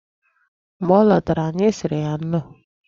Mgbe ọ lọtara, anyị sịrị ya nnọọ.